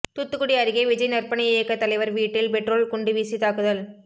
தூத்துக்குடி அருகே விஜய் நற்பணி இயக்க தலைவர் வீட்டில் பெட்ரோல் குண்டு வீசி தாக்குதல்